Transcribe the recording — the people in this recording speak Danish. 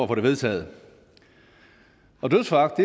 det vedtaget og dødsforagt